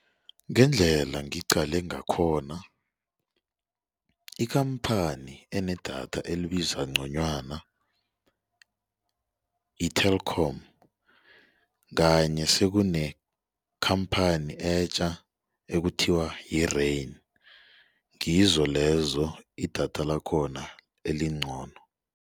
Ngendlela ngiqale ngakhona ikhamphani enedatha elibiza ngconywana yi-Telkom kanye sekunekhamphani etja ekuthiwa yi-Rain. Ngizo lezo idatha lakhona elingcono.